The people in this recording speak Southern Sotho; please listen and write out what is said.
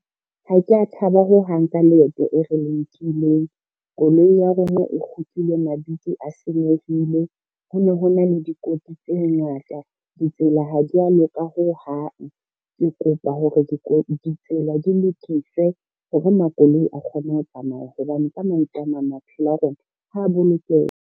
Ha ke a thaba ho hang ka leeto e re nkileng. Koloi ya rona e kgutlile mabidi a senyehile, ho ne ho na le dikotsi tse ngata, ditsela ha dia loka ho hang. Ke kopa hore ditsela di lokiswe hore makoloi a kgone ho tsamaya, hobane ka mantswe a mang maphelo a rona ha bolokeha.